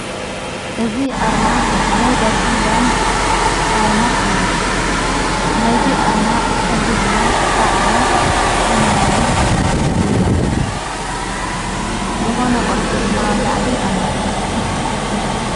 እዝ ኣርማ ናይ ዳሽን ባንክ ኣርማ እዩ ናይዙ ኣርማ ኅብሪ ድማ ፃዕዳ ሰማያዊይ እዮ ዝኾነ ቕርፂ ድማ ኣብ ላዕሊ ኣሎ።